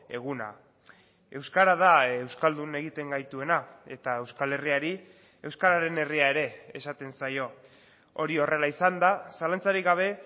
eguna euskara da euskaldun egiten gaituena eta euskal herriari euskararen herria ere esaten zaio hori horrela izanda zalantzarik gabe